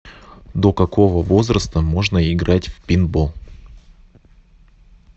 до какого возраста можно играть в пейнтбол